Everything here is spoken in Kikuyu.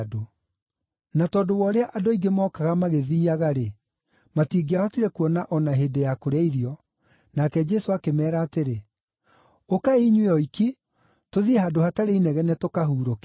Na tondũ wa ũrĩa andũ aingĩ mookaga magĩthiiaga-rĩ, matingĩahotire kuona o na hĩndĩ ya kũrĩa irio, nake Jesũ akĩmeera atĩrĩ, “Ũkai inyuĩ oiki, tũthiĩ handũ hatarĩ inegene, tũkahurũke.”